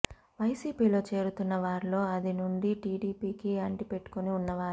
వైసీపీలో చేరుతున్న వారిలో ఆది నుండీ టీడీపీకి అంటి పెట్టుకుని ఉన్నవారే